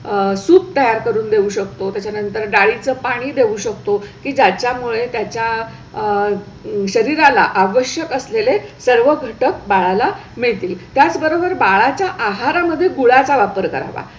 Soup तयार करून देऊ शकतो. त्याचानंतर डाळी चं पाणी देऊ शकतो. त्याच्या मुळे त्याच्या आह शरीराला आवश्यक असलेले सर्व घटक बाळाला मिळतील. त्याचबरोबर बाळाच्या आहारा मध्ये गुळाचा वापर करावा.